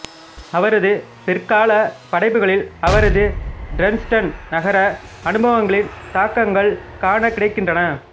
அவரது பிற்கால படைப்புகளில் அவரது டிரெஸ்டன் நகர அனுபவங்களின் தாக்கங்கள் காணக்கிடைக்கின்றன